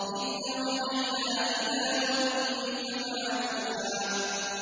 إِذْ أَوْحَيْنَا إِلَىٰ أُمِّكَ مَا يُوحَىٰ